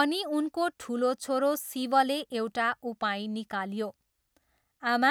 अनि उनको ठुलो छोरो शिवले एउटा उपाय निकाल्यो। 'आमा,